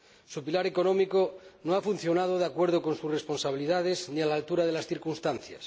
Su pilar económico no ha funcionado de acuerdo con sus responsabilidades ni a la altura de las circunstancias.